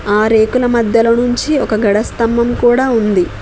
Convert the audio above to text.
ఆ రేకుల మధ్యలో నుంచి ఒక గడ స్తంభం కూడా ఉంది.